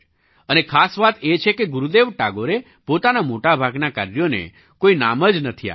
અને ખાસ વાત એ છે કે ગુરુદેવ ટાગોરે પોતાના મોટા ભાગનાં કાર્યોને કોઈ નામ જ નથી આપ્યું